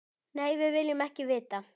Nei, við viljum ekki vita.